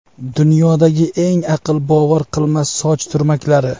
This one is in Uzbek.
Dunyodagi eng aql bovar qilmas soch turmaklari .